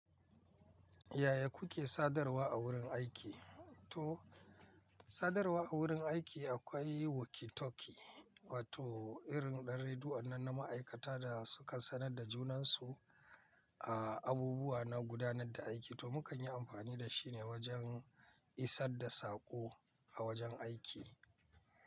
Yaya kuke sadarwa a wurin aiki? To, sadarwa a wurin aiki akwai walkie talkie, wato irin ɗan redu'annan na ma'aikata da, suka sanar da junansu, a abubuwa na gudanar da aiki. To mu kan yi amfani da shi ne wajen, isar da saƙo a wajen aiki.